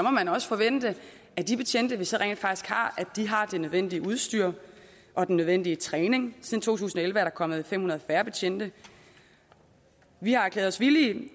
også forvente at de betjente vi så rent faktisk har har det nødvendige udstyr og den nødvendige træning siden to tusind og elleve er der kommet fem hundrede færre betjente vi har erklæret os villige